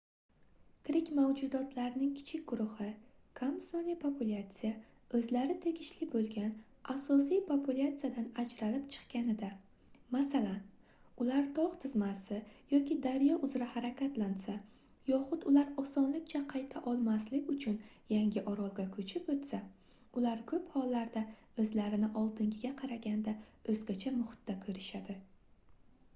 tirik mavjudotlarning kichik guruhi kam sonli populyatsiya o'zlari tegishli bo'lgan asosiy populyatsiyadan ajralib chiqqanida masalan ular tog' tizmasi yoki daryo uzra harakatlansa yoxud ular osonlikcha qayta olmaslik uchun yangi orolga ko'chib o'tsa ular ko'p hollarda o'zlarini oldingiga qaraganda o'zgacha muhitda ko'rishadi